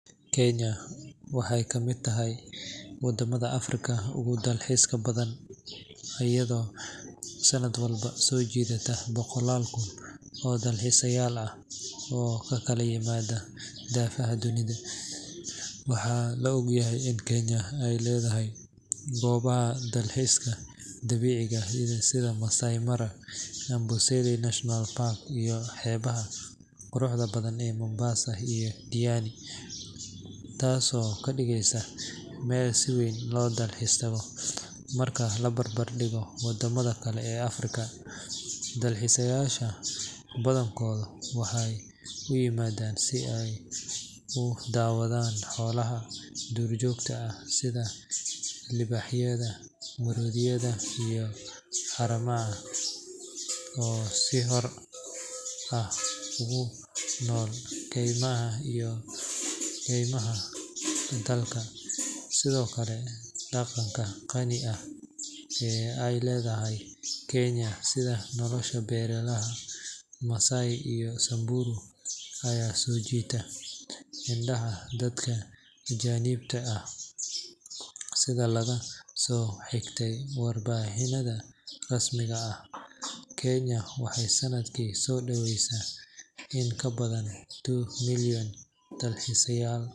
Kenya waxay ka mid tahay waddamada Afrika ugu dalxiiska badan, iyadoo sanad walba soo jiidata boqolaal kun oo dalxiisayaal ah oo ka kala yimaada daafaha dunida. Waxaa la og yahay in Kenya ay leedahay goobaha dalxiiska dabiiciga ah sida Maasai Mara, Amboseli National Park, iyo xeebaha quruxda badan ee Mombasa iyo Diani, taasoo ka dhigaysa meel si weyn loo dalxiis tago marka la barbardhigo wadamada kale ee Afrika. Dalxiisayaasha badankoodu waxay u yimaadaan si ay u daawadaan xoolaha duurjoogta ah sida libaaxyada, maroodiyada, iyo haramaha oo si xor ah ugu nool kaymaha iyo keymaha dalka. Sidoo kale, dhaqanka qani ah ee ay leedahay Kenya sida nolosha beelaha Maasai iyo Samburu ayaa soo jiita indhaha dadka ajaanibka ah. Sida laga soo xigtay warbixinnada rasmiga ah, Kenya waxay sanadkii soo dhaweysay in ka badan two million dalxiisayaal.